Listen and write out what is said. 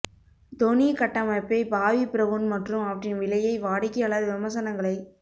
தொனி கட்டமைப்பை Bobbi Brown மற்றும் அவற்றின் விலையை வாடிக்கையாளர் விமர்சனங்களை